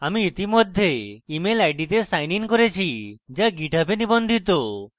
আমি ইতিমধ্যে email id তে সাইনin করেছি যা github এ নিবন্ধিত